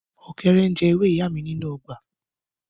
Ọkẹrẹ n je ewe iya mi ninu ogba.